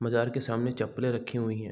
बाजार के सामने चप्पले रखे हुई हैं।